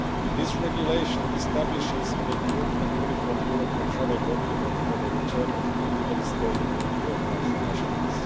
This regulation establishes an improved and uniform European travel document for the return of illegally staying third country nationals.